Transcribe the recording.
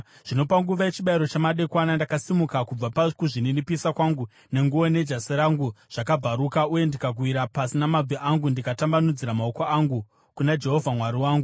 Zvino, panguva yechibayiro chamadekwana, ndakasimuka kubva pakuzvininipisa kwangu, nenguo nejasi rangu zvakabvaruka, uye ndikawira pasi namabvi angu ndikatambanudzira maoko angu kuna Jehovha Mwari wangu